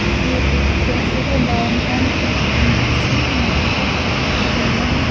ये एक केफे है डाउनटाउन केफे यहाँ पर एक गमला है जो --